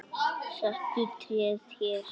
Settu tréð hér.